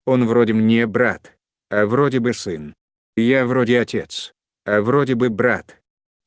он вроде мне брат вроде бы сын я вроде отец а вроде бы брат